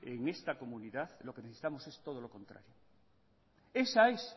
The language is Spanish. en esta comunidad lo que necesitamos es todo lo contrario esa es